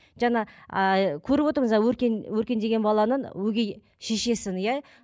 жаңа ыыы көріп отырмыз өркен өркен деген баланың өгей шешесін иә